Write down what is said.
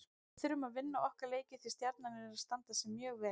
Við þurfum að vinna okkar leiki því Stjarnan er að standa sig mjög vel.